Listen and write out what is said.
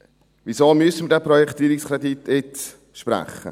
Weshalb müssen wir diesen Projektierungskredit jetzt sprechen?